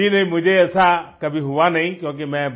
जी नहीं मुझे ऐसा कभी हुआ नहीं क्योंकि मैं